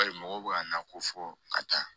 Bari mɔgɔw bɛ ka na ko fɔ ka taa